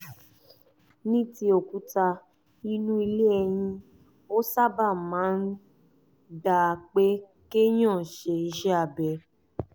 ní ti òkúta inú ilé ẹyin ó sábà máa ń gba pé kéèyàn ṣe iṣẹ́ abẹ